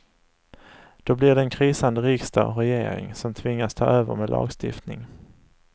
Då blir det en krisande riksdag och regering som tvingas ta över med lagstiftning.